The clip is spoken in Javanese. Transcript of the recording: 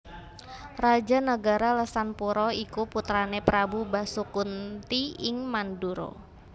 Raja nagara Lesanpura iku putrané Prabu Basukunti ing Mandura